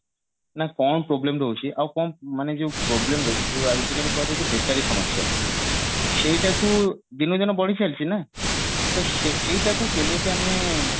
ନା କଣ problem ରହୁଛି ଆଉ କଣ ମାନେ ଯଉ problem ଯଉ ଆଜିକାଲି କୁହାଯାଉଛି ବେକାରୀ ସମସ୍ୟା ସେଇଟାକୁ ଦିନକୁ ଦିନ ବଢି ଚାଲିଛି ନା ତ ସେଇଟାକୁ କେମିତି ଆମେ